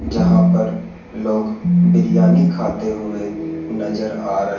जहां पर लोग बिरयानी खाते हुए नजर आ र--